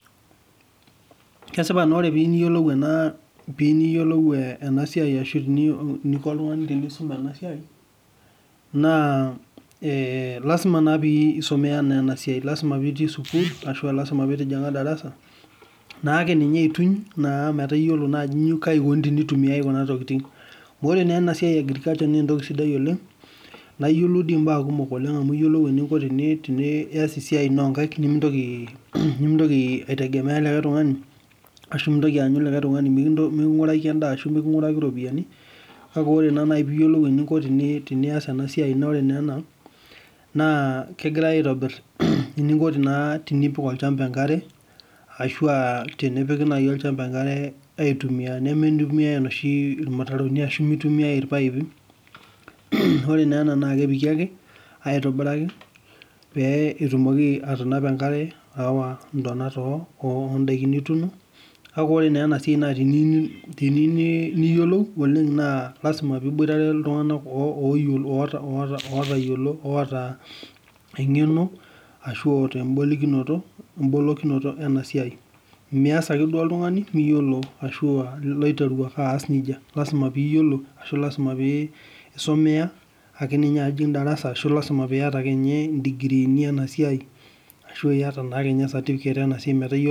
Kesipa ore piyieu niyiolou enasia ashu eniko oltungani pisum enasia na ee lasima pisumia enasua lasima pitii sukul ashu lasima pitijinga darasa akeyie aituny metaa iyiolo ajo kai ikuna tenitumiai kuna tokitin ore enasia na entoki sidia oleng na iyiolou mbaa kumok etii siaitin onkaik nimintoki aanyu likae tungani mikungariki endaa ashu mikingiraki ropiyani amu ore ena kegirai aitobir eninko tenipik olchamba enkare ashu egirai apik aitumia ore ena na kepiki aitobiraki petumoki atanapa enkare petumoki ayawa nkwapi napaasha ore enasia na teniyieu niyolou oleng na lasima piyiolou ltunganak otaa engeno ashu embolokinoto enasiai mias ake oltungani oiteru ake aas nejia lasima piyiolo ashu isumea ashu itijinga darasa ashu lasima piata digiriini inasai metaa iyolo